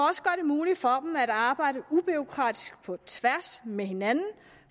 muligt for dem at arbejde ubureaukratisk på tværs med hinanden